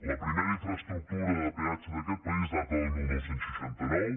la primera infraestructura de peatge d’aquest país data del dinou seixanta nou